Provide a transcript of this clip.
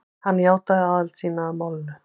Hann játaði aðild sína að málinu